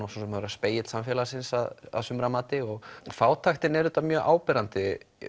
að vera spegill samfélagsins að sumra mati og fátæktin er auðvitað mjög áberandi